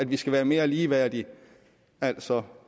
vi skal være mere ligeværdige altså